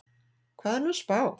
Hvað er hún að spá?